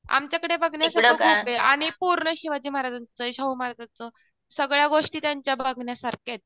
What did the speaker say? आमच्याकडे बघण्यासारखे खूप ये आणि पूर्ण शिवाजी महाराजांचं ये शाहू महाराजांचं सगळ्या गोष्टी त्यांच्या बघण्यासारख्या आहेत.